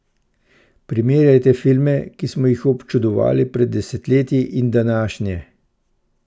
Primerjajte filme, ki smo jih občudovali pred desetletji, in današnje.